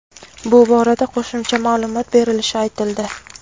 bu borada qo‘shimcha ma’lumot berilishi aytildi.